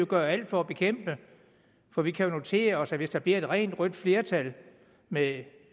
gøre alt for at bekæmpe det for vi kan jo notere os at hvis der bliver et rent rødt flertal med